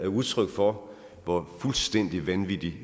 udtryk for hvor fuldstændig vanvittig